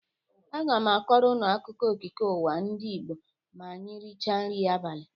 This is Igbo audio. Aga m akọrọ ụnụ akụkụọ okike ụwa ndị Igbo ma anyị rịcha nrị abalị.